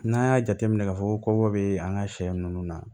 N'an y'a jateminɛ k'a fɔ ko kɔkɔ bɛ an ka sɛ ninnu na